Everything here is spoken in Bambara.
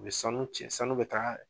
U bɛ sanu cɛ sanu bɛ taga